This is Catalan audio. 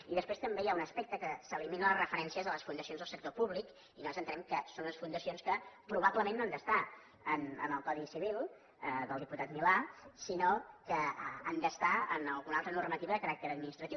i després també hi ha un aspecte que s’eliminen les referències a les fundacions del sector públic i nosaltres entenem que són unes fundacions que probablement no han d’estar en el codi civil del diputat milà sinó que han d’estar en alguna altra normativa de caràcter administratiu